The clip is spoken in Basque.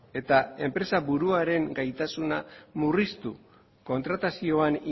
eta enpresa buruaren gaitasuna murriztu kontratazioan